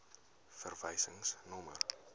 verwysingsnommer